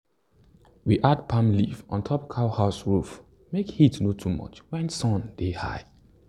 we add palm leaf on top cow house roof make heat no too much when sun dey high.